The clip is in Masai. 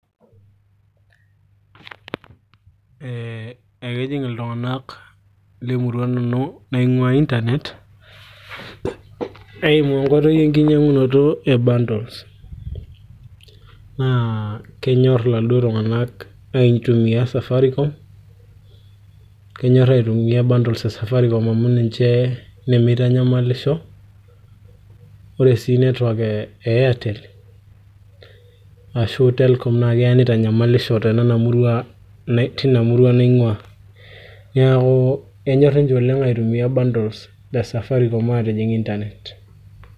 ee ekejing iltung'anak lemurua nanu naing'ua internet eimu enkoitoi enkinyiang'unoto e bundles naa kenyorr iladuo tung'anak aitumia safaricom kenyorr aitumia bundles e safaricom amu ninche nemeitanyamalisho ore sii network e airtel ashu telcom naa keya nitanyamalisho te nena murua, tina murua naing'uaa neeku kenyorr ninche aitumia bundles le safaricom atijing internet